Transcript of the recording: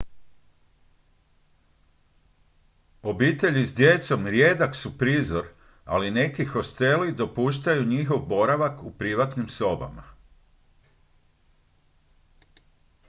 obitelji s djecom rijedak su prizor ali neki hosteli dopuštaju njihov boravak u privatnim sobama